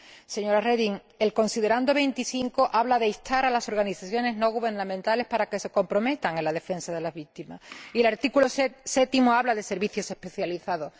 Señora Reding, el considerando 25 habla de instar a las organizaciones no gubernamentales a que se comprometan en la defensa de las víctimas y el artículo 7 habla de servicios especializados.